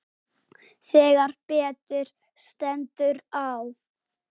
Þegar betur stendur á